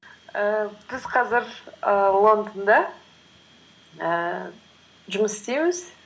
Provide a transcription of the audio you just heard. ііі біз қазір ііі лондонда ііі жұмыс істейміз